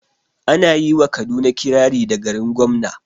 Ana yi wa kaduna kirari da "garin gwamna"